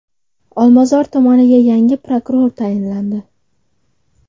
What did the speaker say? Olmazor tumaniga yangi prokuror tayinlandi.